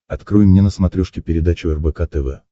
открой мне на смотрешке передачу рбк тв